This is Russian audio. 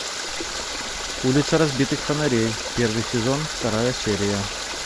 улица разбитых фонарей первый сезон вторая серия